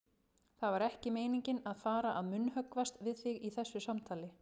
Það var ekki meiningin að fara að munnhöggvast við þig í þessu samtali.